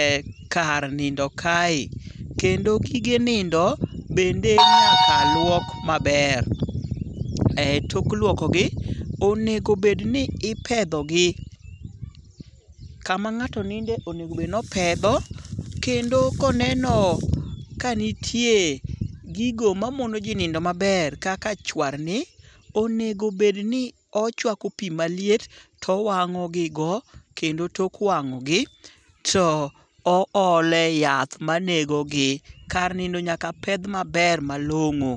ekar nindo kae kendo gige nindo bende nyaka luok maber. Tok lwokogi onego bed ni ipedhogi. Kama ng'ato ninde onego bed ni opedho kendo koneno kanitie gigo mamono ji nindo maber kaka chwarni onego bedni ochwako pi maliet towang'ogi go kendo tok wang'ogi to oole yath manegogi. Kar nindo nyaka pedh maber malong'o.